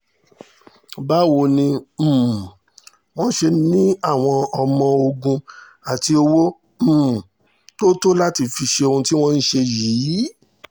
báwo ni um wọ́n ṣe ní àwọn ọmọ-ogun àti owó um tó tó láti fi ṣe ohun tí wọ́n ṣe yìí